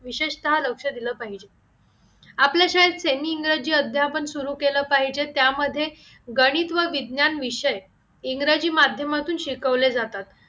विशेषतः लक्ष दिलं पाहिजे आपल्या शाळेत semi इंग्रजी अध्यापन सुरू केलं पाहिजे त्यामध्ये गणित व विज्ञान विषय इंग्रजी माध्यमातून शिकवले जातात